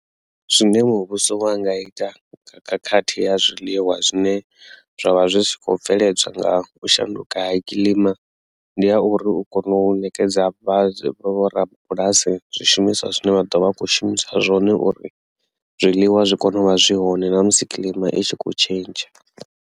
Zwine muvhuso wo anga ita khakhathi ya zwiḽiwa zwine zwa vha zwi tshi kho bveledzwa nga u shanduka ha kilima ndi ya uri u kone u nekedza vho rabulasi zwishumiswa zwine vha ḓo vha a kho shumisa zwone uri zwiḽiwa zwi kone u vha zwi hone na musi kilima I tshi kho tshentsha.